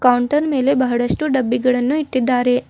Counter ಮೇಲೆ ಬಹಳಷ್ಟು ಡಬ್ಬಿಗಳನ್ನು ಇಟ್ಟಿದ್ದಾರೆ.